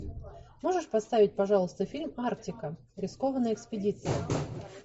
можешь поставить пожалуйста фильм арктика рискованная экспедиция